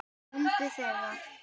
Mundu þegar